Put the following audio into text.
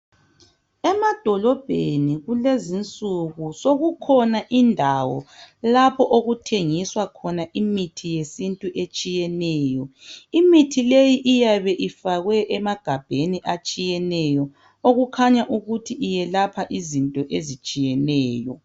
Emadolobheni kulezinsuku sokukhona indawo lapho okuthengiswa khona imithi yesintu etshiyeneyo .Imithi leyo iyabe ifakwe emagabheni atshiyeneyo okukhanya ukuthi iyelapha izinto ezitshiyeneyo.